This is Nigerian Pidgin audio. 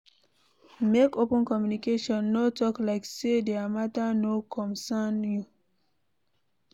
Make open communication, no talk like sey their matter no comcern you